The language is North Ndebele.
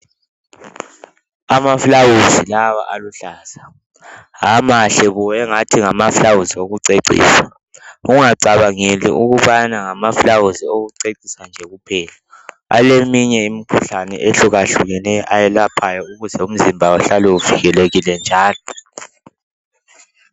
Amaflawuzi lawa aluhlaza amahle kubi engathi ngamaflawuzi wokucecisa ungacabangeli ukubana ngama flawuzi okucecisa nje kuphela aleminye imikhuhlane ehluka hlukeneyo ayelaphayo ukuze umzimba uhlale uvikelekile njalo